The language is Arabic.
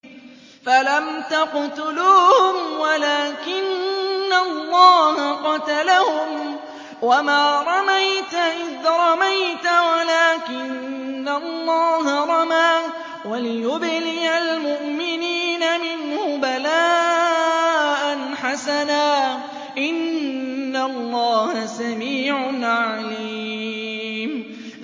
فَلَمْ تَقْتُلُوهُمْ وَلَٰكِنَّ اللَّهَ قَتَلَهُمْ ۚ وَمَا رَمَيْتَ إِذْ رَمَيْتَ وَلَٰكِنَّ اللَّهَ رَمَىٰ ۚ وَلِيُبْلِيَ الْمُؤْمِنِينَ مِنْهُ بَلَاءً حَسَنًا ۚ إِنَّ اللَّهَ سَمِيعٌ عَلِيمٌ